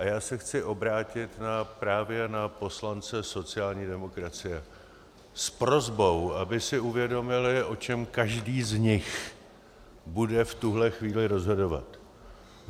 A já se chci obrátit právě na poslance sociální demokracie s prosbou, aby si uvědomili, o čem každý z nich bude v tuhle chvíli rozhodovat.